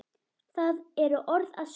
Það eru orð að sönnu!